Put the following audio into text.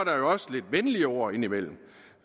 der jo også lidt venlige ord indimellem